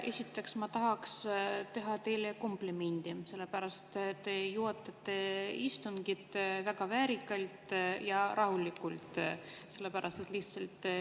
Esiteks, ma tahaks teha teile komplimendi, sellepärast et te juhatate istungit väga väärikalt ja rahulikult.